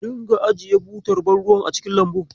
A dinga ajiye butar ban ruwan a cikin lambun.